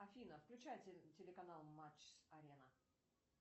афина включай телеканал матч арена